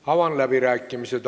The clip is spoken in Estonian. Avan läbirääkimised.